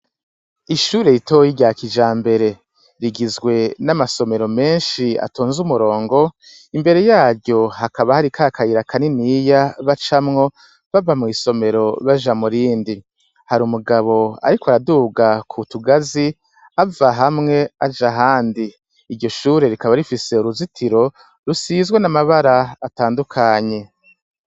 Ishuri ritoyi rya kijambere rigizwe na masomero menshi atonze umurongo imbere yaryo hakaba hari kaka kayira kaniniya bacamwo bava mwisomero baja murindi hari umugabo ariko araduga kutugazi ava hamwe aja ahandi iryo shure rikaba rifise uruzitiro rusizwe n' amabara atandukanye.